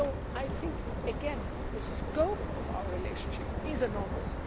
I think again that the scope of our relationship is enormous.